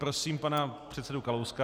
Prosím pana předsedu Kalouska.